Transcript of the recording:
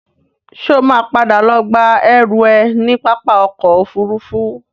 Ṣo ma padà lọ gba ẹrú ẹ ní pápá ọkọ̀ Òfurufú?